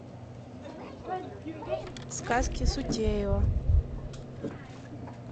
сказки сутеева